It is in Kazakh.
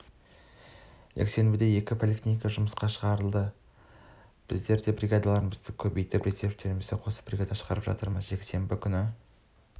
жексенбіде екі поликлиника жұмысқа шығады біздер де бригадаларымызды көбейтіп резервтерімізді қосып бригада шығарып жатырмыз жексенбі күні